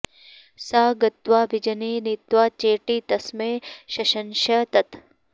सा गत्वा विजने नीत्वा चेटी तस्मै शशंस तत्